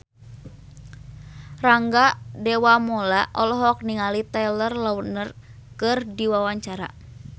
Rangga Dewamoela olohok ningali Taylor Lautner keur diwawancara